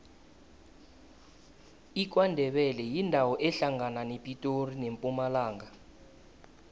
ikwandebele yindawo ehlangana nepitori nempumalanga